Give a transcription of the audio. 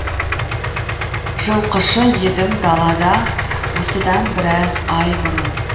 жылқышы едім далада осыдан біраз ай бұрын